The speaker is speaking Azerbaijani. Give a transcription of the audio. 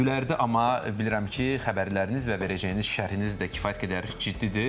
Üzünüz gülərdi, amma bilirəm ki, xəbərləriniz və verəcəyiniz şərhiniz də kifayət qədər ciddidir.